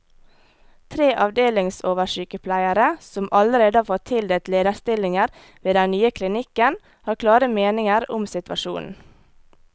Tre avdelingsoversykepleiere, som allerede har fått tildelt lederstillinger ved den nye klinikken, har klare meninger om situasjonen.